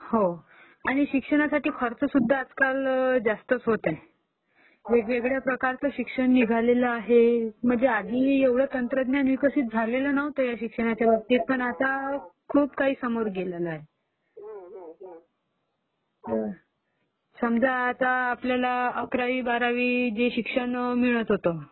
हो, आणि शिक्षणासाठी खर्चसुध्दा आजकाल जास्तच होत आहे, वेगवेगळ्या प्रकारचं शिक्षण निघालेलं आहे, म्हणजे आधी एवढं तंत्रज्ञान विकसित झालेलं नव्हतं शिक्षणाच्याबाबतीत पण आता खूप काही समोर गेलेलं आहे. समजा आता आपल्याला अकरावी बारावी जे शिक्षण मिळतं होतं